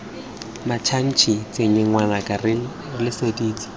mmatšhatšhi tshenye ngwanaka re letseditse